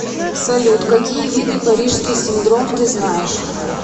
салют какие виды парижский синдром ты знаешь